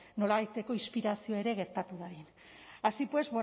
nolabaiteko inspirazioa ere gertatu dadin así pues